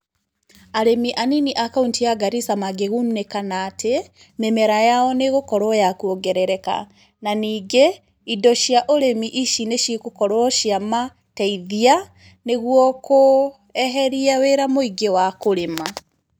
Arĩmi anini a kauntĩ ya Garissa mangĩgunĩka na atĩ, mĩmera yao nĩ ĩgũkorwo ya kuongerereka. Na ningĩ ,indo cia ũrĩmi ici nĩ cigũkorwo cia mateithia, nĩguo kũeheria wĩra mũingĩ wa kũrĩma.